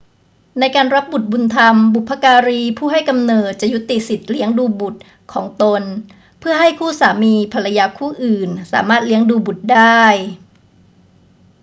ในการรับบุตรบุญธรรม บุพการีผู้ให้กำเนิดจะยุติสิทธิเลี้ยงดูบุตรของตนเพื่อให้คู่สามีภรรยาคู่อื่นสามารถเลี้ยงดูบุตรได้